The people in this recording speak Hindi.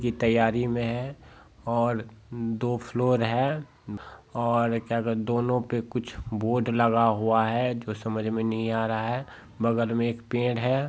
ये तैयारी में है और दो फ्लोर है और क्या दोनों पे कुछ बोर्ड लगा हुआ है जो समझ में नहीं आ रहा है बगल में एक पेड़ है।